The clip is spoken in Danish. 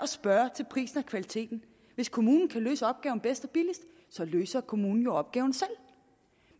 spørge til prisen og kvaliteten hvis kommunen kan løse opgaven bedst og billigst løser kommunen jo opgaven selv